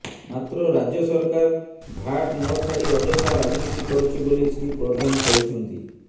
ମାତ୍ର ରାଜ୍ୟ ସରକାର ଭାଟ୍ ନଛାଡି ଅଯଥା ରାଜନୀତି କରୁଛି ବୋଲି ଶ୍ରୀ ପ୍ରଧାନ କହିଛନ୍ତି